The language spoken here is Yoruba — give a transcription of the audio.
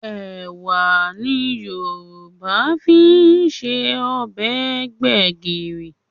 Ẹ̀wà ni Yorùbá fi ń se ọbẹ̀ gbẹ̀gìrì